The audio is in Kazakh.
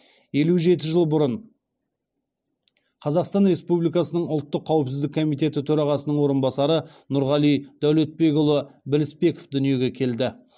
елу жеті жыл бұрын қазақстан республикасының ұлттық қауіпсіздік комитеті төрағасының орынбасары нұрғали дәулетбекұлы білісбеков дүниеге келді